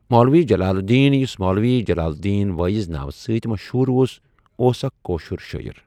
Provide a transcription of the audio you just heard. مولوی جَلال الدیٖن یُس مولوی جَلال الدیٖن وٲعِظ ناو سٟتؠ مَشہوٗر اوس، اوس اَکھ کٲشُر شٲیِر.